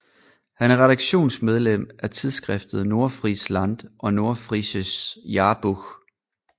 Han er redaktionsmedlem af tidsskriftet Nordfriesland og Nordfriesisches Jahrbuch